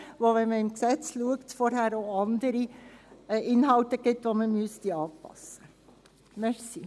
Wenn man ins Gesetz schaut, gibt es vorher auch andere Inhalte, die man anpassen müsste.